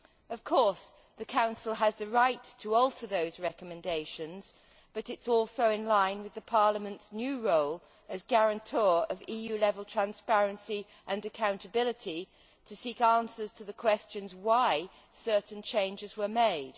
Of course the Council has the right to alter those recommendations, but it is also in line with Parliament's new role as guarantor of EU level transparency and accountability to seek answers to the questions as to why certain changes were made.